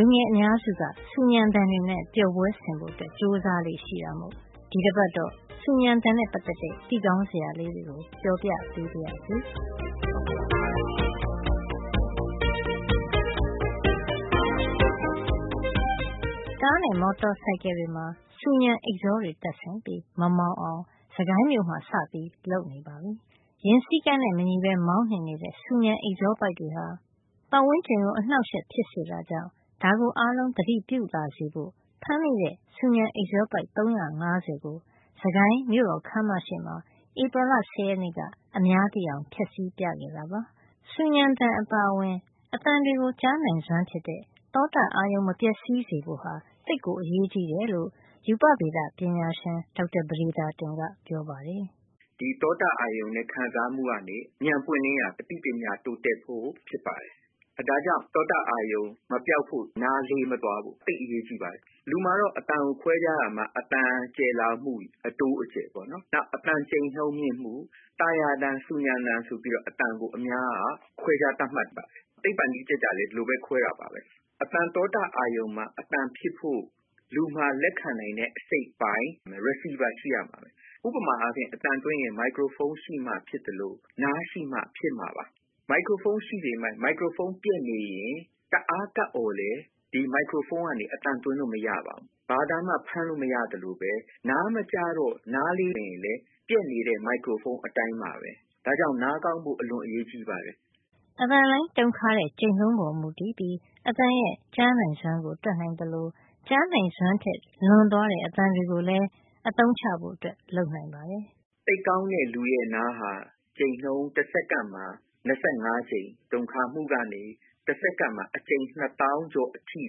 ူငယ်အများစုက ဆူညံသံတွေနဲ့ ပျော်ပွဲဆင်ဖို့ ကြိုးစားလေ့ရှိတာမို့ ဒီတပတ်တော့ ဆူညံသံနဲ့ ပတ်သက်တဲ့ သိကောင်းစရာလေးတွေကို ပြောပြပေးပါရစေ။ ကားနဲ့မော်တော်ဆိုင်ကယ်တွေမှာ ဆူညံအိပ်ဇောတွေ တပ်ဆင်ပြီး မမောင်းအောင် စစ်ကိုင်းမြို့မှာ စပြီး လုပ်ဆောင်နေပါပြီ။ ယာဉ်စည်းကမ်းနဲ့ မညီပဲမောင်းနှင်နေတဲ့ ဆူညံအိပ်ဇောပိုက် တွေဟာ ပတ်ဝန်းကျင်ကို အနှောက်အယှက် ဖြစ်စေတာကြောင့် ဒါကို အားလုံးသတိပြုလာစေဖို့ ဖမ်းမိတဲ့ ဆူညံအိပ်ဇောပိုက် ၃၅၀ ကို စစ်ကိုင်းမြို့တော်ခန်းမရှေ့မှာ ဧပြီလ ၁၀ ရက်နေ့က အများသိအောင် ဖျက်ဆီးပြခဲ့တာပါ။ ဆူညံသံအပါအဝင် အသံတွေကို ကြားနိုင်စွမ်းဖြစ်တဲ့ သောတအာရုံ မပျက်စီးစေဖို့ သိပ်ကို အရေးကြီးတယ်လို့ ရူပဗေဒပညာရှင် ဒေါက်တာ ပဒေသာတင်ကပြောပါတယ်။ “ဒီသောတအာရုံနဲ့ ခံစားမှုကနေ ဉာဏ်ပွင့်လင်းရာ အသိပညာ တိုးတက်ဖို့ဖြစ်ပါတယ်။ ဒါကြောင့် သောတအာရုံ မပျောက်ဖို့၊ နားလေးမသွားဖို့ သိပ်အရေးကြီးပါတယ်။ လူမှာတော့ အသံကိုခွဲခြားရာမှာ အသံကျယ်လောင်မှု၊ အသံအတိုးအကျယ် ပေ့ါနော်။ နောက်အသံကြိန်နှုန်းမြင့်မှု၊ သာယာသံ၊ ဆူညံသံ ဆိုပြီးတော့ အများက ခွဲခြားသတ်မှတ် ပါတယ်။ သိပ္ပံနည်းကျကျလည်း ဒီလိုပဲ ခွဲတာပါပဲ။ အသံ သောတအာရုံကို အသံဖြစ်ဖို့ လူမှာ လက်ခံ နိုင်တဲ့ အစိတ်အပိုင်း receiver ရှိရမယ်။ ဥပမာအားဖြင့် အသံလွှင့်ရင် မိုက်ခရိုဖုံး ရှိမှ ဖြစ်သလို နားရှိမှ အသံကို ကြားနိုင်မှာပါ။ မိုက်ခရိုဖုံး ရှိပေမယ့် မိုက်ခရိုဖုံး ပျက်နေရင် တအား ကပ် အော်လည်း ဒီ မိုက်ခရိုဖုံးကနေ အသံသွင်းလို့ မရပါဘူး။ ဘာအသံမှ ဖမ်းလို့ မရသလိုပဲ နားမကြားတော့ နားလေးနေ ရင်လည်း ပျက်နေတဲ့ မိုက်ခရိုဖုံး အတိုင်းပါပဲ။ ဒါကြောင့် နားကောင်းဖို့ အလွန် အရေးကြီးပါတယ်။” အသံလှိုင်းတုန်ခါတဲ့ ကြိမ်နှုန်းပေါ်မူတည်ပြီး အသံရဲ့ ကြားနိုင်စွမ်းကို တွက်နိုင်သလို ကြားနိုင်စွမ်းထက် လွန်သွားတဲ့ အသံတွေကိုလည်း အသုံးချဖို့ လုပ်နိုင်ပါတယ်။ “သိပ်ကောင်းတဲ့လူရဲ့ နားဟာ ကြိမ်နှုန်း တစက္ကန့်မှာ ၂၅ ကြိမ် တုန်ခါမှုကနေ တစက္ကန့်မှာ အကြိမ် ၂ သောင်းကျော် အထိ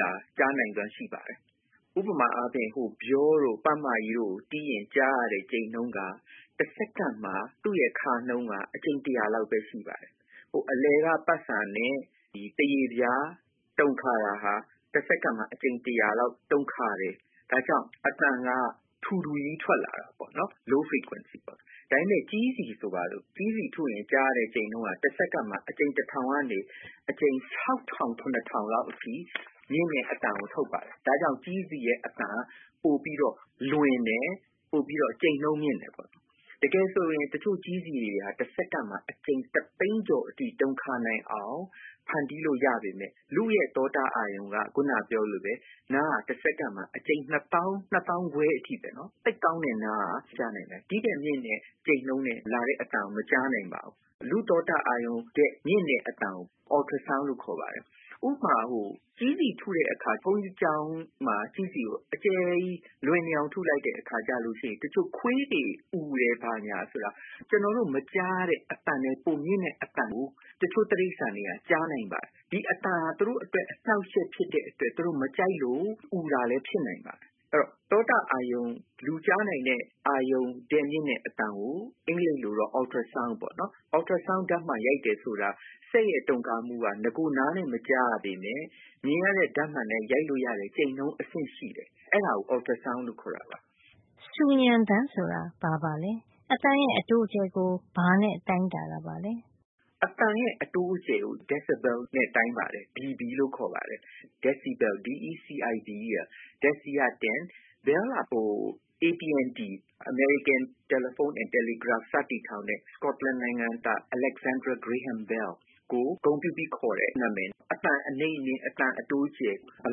တောင် ကြားနိုင်စွမ်းရှိပါတယ်။ ဥပမာ အားဖြင့် ဗျောတို့၊ ပတ်မကြီးတို့ကို တီးရင် ကြားရတဲ့ ကြိမ်နှုန်းက တစက္ကန့်မှာ သူ့ရဲ့ ခါနှုန်းက အကြိမ် တရာလောက်ပဲ ရှိပါတယ်။ အလယ်က ပတ်စာနဲ့ သားရေပြား တုန်ခါ တာက တစက္ကန့်မှာ အကြိမ် တရာလောက် တုန်ခါတယ်။ ဒါကြောင့် အသံက ထူထူကြီး ထွက်လာတာပေါ့နော်။ low frequency ပေါ့။ ဒါပေမယ့် ကြေးစည် ဆိုပါတော့၊ ကြေးစည်ထုရင် ကြားရတဲ့ ကြိမ်နှုန်းက တစက္ကန့်မှာ အကြိမ် တထောင်ကနေ အကြိမ် ၆ ထောင် ၇ ထောင်လောက်အထိ မြင့်တဲ့အသံကို ထုတ်ပါတယ်။ ဒါ့ကြောင့် ကြေးစည်ရဲ့ အသံက ပိုပြီးတော့ လွင်တယ်။ ပိုပြီးတော့ ကြိမ်နှုန်းမြင့်တယ်။ တကယ်ဆိုရင် တချို့ ကြေးစည်တွေက တစက္ကန့်မှာ အကြိမ် တသိန်းကျော်အထိ တုန်ခါနိုင်အောင် ဖန်တီးလို့ ရပါတယ်။ ဒါပေမယ့် လူ့ရဲ့ သောတ အာရုံက ခုန ပြောသလိုပဲ နားက တစက္ကန့်မှာ အကြိမ် ၂ သောင်း - ၂ သောင်းခွဲ အထိပဲ၊ သိပ်ကောင်းတဲ့နားက ကြားနိုင်တာ။ ဒီ့ထက်မြင့်တဲ့ ကြိမ်နှုန်းနဲ့ လာတဲ့ အသံကို မကြားနိုင်တော့ဘူး။ လူကြားနိုင်တဲ့ သောတအာရုံထက် မြင့်တဲ့အသံကို Ultra sound လို့ခေါ်ပါတယ်။ ဥပမာ ကြေးစည်ထုတဲ့ အခါ ဘုန်းကြီးကျောင်းမှာ ကြေးစည်ကို အကျယ်ကြီးလွင်နေအောင် ထုလိုက်တဲ့အခါ ခွေးတွေ အူတယ် ဆိုတာ၊ ကျနော်တို့ မကြားရတဲ့ အသံထက် ပိုမြင့်တဲ့ အသံကို တချို့ တိရိစ္ဆာန်တွေက ကြားနိုင်ပါတယ်။ ဒီအသံဟာ သူတို့အတွက် အနှောက်အယှက် ဖြစ်တဲ့အတွက် သူတို့ မကြိုက်လို့ အူတာလဲ ဖြစ်နိုင်ပါတယ်။ အဲဒီတော့ သောတအာရုံ - လူကြားနိုင်တဲ့ အာရုံထက် မြင့်တဲ့ အသံက အင်္ဂလိပ်လိုတော့ Ultra sound ပေါ့နော်။ Ultra sound ဓါတ်မှန် ရိုက်တယ် ဆိုတာ စက်ရဲ့ တုန်ခါမှုက ရိုးရိုးနားနဲ့ မကြားရပေမယ့် မြင်ရတဲ့ ဓါတ်မှန်နဲ့ ရိုက်လို့ ရတဲ့ ကြိမ်နှုန်း အဆင့်ရှိလို့ အဲဒါကို Ultra sound လို့ခေါ်တာပါ။” ဆူညံသံ ဆိုတာဘာပါလဲ။ အသံရဲ့ အတိုးအကျယ်ကို ဘာနဲ့တိုင်းတာတာပါလဲ။ “အသံရဲ့ အတိုးအကျယ်ကို ဒက်ဆီဘဲယ်နဲ့ တိုင်းပါတယ်။ DB လို့ ခေါ်ပါတယ်။ Decibel - ဒက်ဆီက တဆယ်၊ ဘဲလ်က အမေရိကန် တယ်လီဖုံးနဲ့ တယ်လီဂရပ်ဖ် AT&T စတည်ထောင်တဲ့ စကော့တလန် နိုင်ငံသား Alexander Graham Bell ကို ဂုဏ်ပြုပြီး ခေါ်တဲ့ နံမယ်။ အသံ အနိမ့်အမြင့် အသံ အတိုးအကျယ်၊ ဘယ်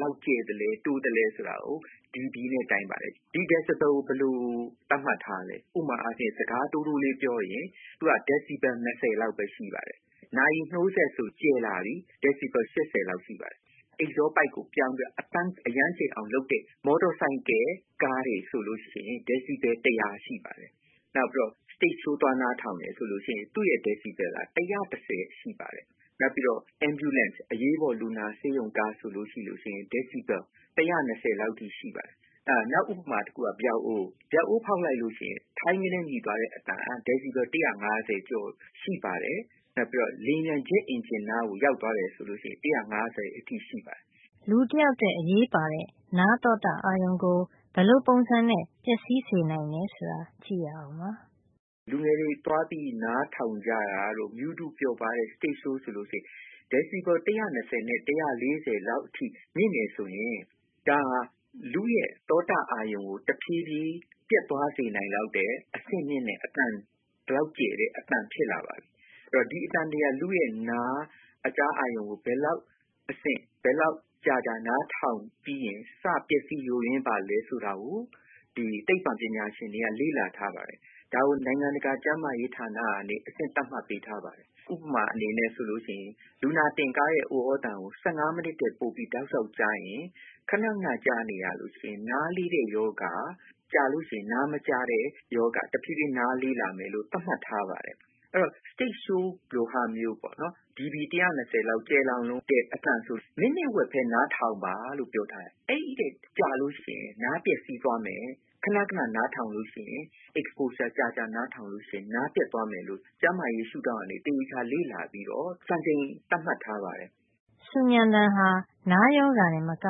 လောက် ကျယ်သလဲ၊ တိုးသလဲ ဆိုတာကို DB နဲ့ တိုင်းပါတယ်။ ဒီ ဒက်ဆီဘဲလ် ကို ဘယ်လို သတ်မှတ်ထားသလဲ၊ ဥပမာ စကား တိုးတိုးလေး ပြောရင် သူက DB ၂၀ လောက်ပဲ ရှိပါတယ်။ နာရီ နှိုးစက်ဆို ကျယ်လာပြီ။ DB ၈၀ လောက်ရှိပါတယ်။ အိပ်ဇောပိုက်ကို ပြောင်းပြီး အသံအရမ်းကျယ်အောင် လုပ်ထားတဲ့ မော်တော်ဆိုင်ကယ်တွေ ကားတွေဆိုရင် DB ၁၀၀ ရှိပါတယ်။ နောက် စတိတ်ရှိုး သွားနားထောင်တယ် ဆို သူ့ DB က ၁၁၀ လောက် ရှိပါတယ်။ နောက် အရေးပေါ်လူနာတင်ကား ambulance ဆိုရင် ၁၁၀ လောက် အထိ ရှိပါတယ်။ နောက်တခုက ဗျောက်အိုး။ ဗျောက်အိုးဖေါက်လိုက်လို့ ရှိရင် ထိုင်းကနဲ မြည်သွားတဲ့ အသံက DB ၁၅၀ ကျော် ရှိပါတယ်။ နောက် လေယာဉ်ပျံ ဂျက်အင်ဂျင်နားကို ရောက်သွားမယ် ဆိုရင် DB ၁၅၀ လောက်အထိ ရှိပါတယ်။ လူတယောက်အတွက် နားသောတအာရုံကို ဘယ်လိုပုံစံနဲ့ ပျက်စီးစေနိုင်သလဲ ဆိုတာ ကြည့်ရအောင်ပါ။ “လူငယ်တွေ မြူးတူးပျော်ပါးပြီး သွားနားထောင်လေ့ရှိတဲ့ စတိတ်ရှိုးဆိုရင် DB ၁၂၀ ကနေ ၁၄၀ လောက် အထိ မြင့်နိုင်ပါတယ်။ အဲဒါဆိုရင် လူ့ရဲ့ သောတ အာရုံကို တဖြေးဖြေးပျက်သွားစေနိုင်လောက်တဲ့ အဆင့်မြင့်တဲ့ ကျယ်တဲ့ အသံ ဖြစ်လာပါပြီ။ ဒီအသံတွေဟာ လူ့ရဲ့နား အကြားအာရုံမှာ ဘယ်လောက်ကြာကြာ နားထောင်ပြီးရင် စ - ယိုယွင်း ပျက်စီးလာပါသလဲ ဆိုတာကို သိပ္ပံပညာရှင်တွေက လေ့လာ ထားပါတယ်။ ဒါကို နိုင်ငံတကာ ကျန်းမာရေးဌာန ကနေ အဆင့် သတ်မှတ်ပေးထားပါတယ်။ ဥပမာ- လူနာတင်ကားရဲ့ ဥသြသံကို ၁၅ မိနစ်ထက်ပိုပြီး တောက်လျှောက် ကြားရင်၊ ခဏခဏ ကြားနေရရင် နားလေးတဲ့ရောဂါ၊ ကြာလို့ရှိရင် နားမကြားတဲ့ ရောဂါ၊ တဖြေးဖြေး နားလေးလာမယ်လို့ သတ်မှတ်ထားပါတယ်။ အဲဒီတော့ စတိတ်ရှိုးလိုဟာမျိုး DB ၁၂၀ လောက ကျယ်လောင်လွန်းတဲ့ အသံဆို မိနစ်ဝက်ပဲ နားထောင်ပါလို့ ပြောထားပါတယ်။ အဲဒီထက် ကြာလို့ရှိရင် နားပျက်စီး သွားမယ်တဲ့။ ခဏခဏ နားထောင်ရင် exposure ကြာကြာ နားထောင်လို့ရှိရင် နားပျက်သွားမယ်လို့ ကျန်းမာရေး ရှုဒေါင့်ကနေ သေသေချာချာ လေ့လာပြီးတော့ စံချိန် သတ်မှတ် ထားပါတယ်။” ဆူညံသံဟာ နားရောဂါ တင်မက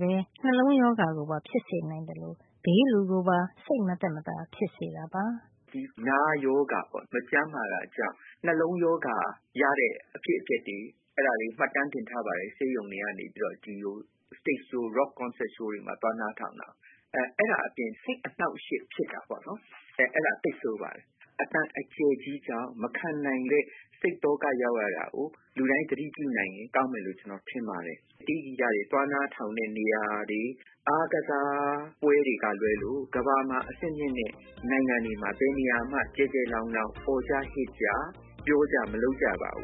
ပဲ နှလုံးရောဂါ ပါဖြစ်စေနိုင်သလို ဘေးလူကိုပါ စိတ်မသက်သာ ဖြစ်စေတာပါ။ “နားရောဂါပေါ့၊ မကျန်းမာတာကြောင့် နှလုံးရောဂါ ရတဲ့ အဖြစ်အပျက်တွေ မှတ်တမ်းတင်ထားပါတယ်။ ဆေးရုံတွေက ဒီလို စတိတ်ရှိုး rock concert ရှိုးတွေမှာ သွားနားထောင်တာတွေပေါ့။ အဲဒီကနေ စိတ်အနှောက်အယှက် ဖြစ်တာပေါ့။ အဲဒါက သိပ်ဆိုးပါတယ်။ အသံ အကျယ်ကြီးကြောင့် မခံနိုင်ပဲ စိတ်သောက ရောက်ရတာကို လူတိုင်း သတိပြုနိုင်ရင် ကောင်းမယ်လို့ ကျနော် ထင်ပါတယ်။ တေးဂီတတွေ သွားနားထောင်တဲ့ နေရာတွေ၊ အားကစားပွဲတွေ ကလွဲလို့ ကမ္ဘာမှာအဆင့်မြင့်တဲ့ နိုင်ငံတွေမှာ ဘယ်နေရာမှ ကျယ်ကျယ်လောင်လောင် အော်ကြဟစ်ကြ ပြောကြ မလုပ်ကြပါဘူ